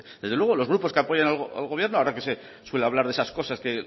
desde luego los grupos que apoyan al gobierno ahora que se suele hablar de esas cosas que